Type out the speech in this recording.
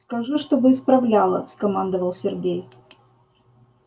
скажи чтобы исправляла скомандовал сергей